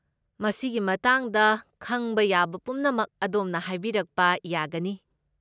ꯃꯁꯤꯒꯤ ꯃꯇꯥꯡꯗ ꯈꯪꯕ ꯌꯥꯕ ꯄꯨꯝꯅꯃꯛ ꯑꯗꯣꯝꯅ ꯍꯥꯏꯕꯤꯔꯛꯄ ꯌꯥꯒꯅꯤ꯫